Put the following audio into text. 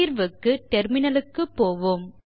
தீர்வுக்கு டெர்மினலுக்கு போவோம்